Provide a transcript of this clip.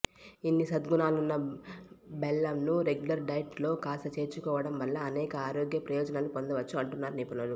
ఇన్ని సద్గుణాలున్న బెల్లంను రెగ్యులర్ డైట్ లో కాస్త చేర్చుకోవడం వల్ల అనేక ఆరోగ్య ప్రయోజనాలు పొందవచ్చు అంటున్నారు నిపుణులు